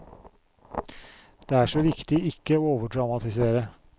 Det er så viktig ikke å overdramatisere.